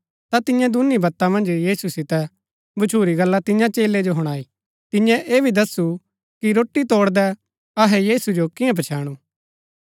ता तियें दूनी बत्ता मन्ज यीशु सितै भच्छुरी गल्ला तियां चेलै जो हुणाई तियें ऐह भी दसु कि रोटी तोड़दै अहै यीशु जो कियां पछैणु